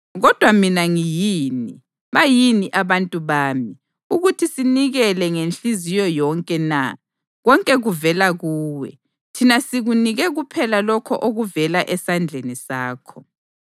Kodwa mina ngiyini, bayini abantu bami, ukuthi sinikele ngenhliziyo yonke na? Konke kuvela kuwe, thina sikunike kuphela lokho okuvela esandleni sakho.